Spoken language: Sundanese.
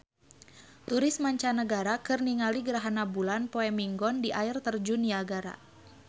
Turis mancanagara keur ningali gerhana bulan poe Minggon di Air Terjun Niagara